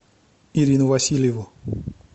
ирину васильеву